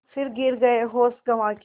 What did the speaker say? फिर गिर गये होश गँवा के